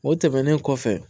O tɛmɛnen kɔfɛ